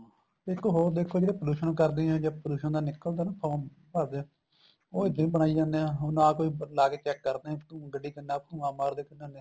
ਇੱਕ ਹੋਰ ਦੇਖੋ ਜਿਹੜੇ pollution ਕਰਦੇ ਆ ਜਾਂ pollution ਦਾ ਨਿੱਕਲ ਦਾ ਨਾ form ਭਰਦੇ ਏ ਉਹ ਇੱਦਾਂ ਹੀ ਬਣਾਈ ਜਾਂਦੇ ਆ ਨਾ ਲਾ ਕੇ check ਕਰਦੇ ਆ ਵੀ ਗੱਡੀ ਕਿੰਨਾ ਧੁਆਂ ਮਾਰਦੀ ਹੈ ਕਿੰਨਾ ਨਹੀਂ